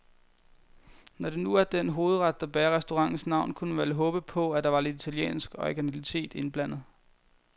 Når det nu er den hovedret, der bærer restaurantens navn, kunne man vel håbe på, at der var lidt italiensk originalitet indblandet.